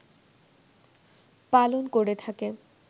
পালন করে থাকে